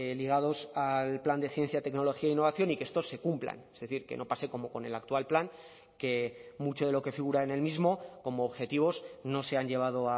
ligados al plan de ciencia tecnología e innovación y que estos se cumplan es decir que no pase como con el actual plan que mucho de lo que figura en el mismo como objetivos no se han llevado